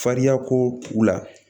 Fariyakow la